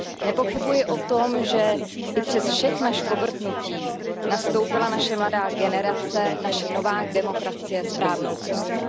Nepochybuji o tom, že i přes všechna škobrtnutí nastoupila naše mladá generace, naše nová demokracie správnou cestu.